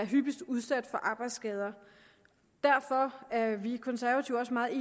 hyppigst er udsat for arbejdsskader derfor er vi konservative også meget